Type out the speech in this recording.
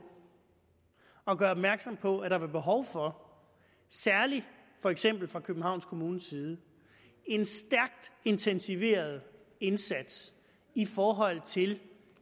at gøre opmærksom på at der var behov for særlig for eksempel fra københavns kommunes side en stærkt intensiveret indsats i forhold til